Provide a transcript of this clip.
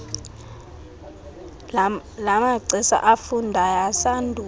lamagcisa afundayo asandula